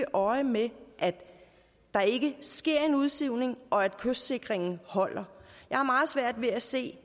øje med at der ikke sker en udsivning og at kystsikringen holder jeg har meget svært ved at se